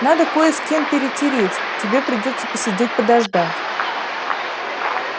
надо кое с кем перетереть тебе придётся посидеть подождать